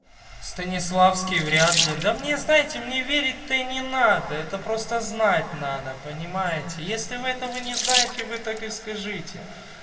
станиславский вряд ли да мне знаете мне верить то и не надо это просто знать надо понимаете если вы этого не знаете вы так и скажите